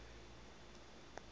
following world war